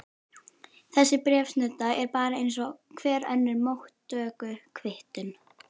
Þessi bréfsnudda er bara eins og hver önnur móttökukvittun.